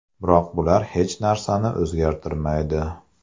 Biroq bular hech narsani o‘zgartirmaydi.